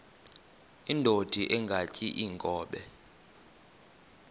indod ingaty iinkobe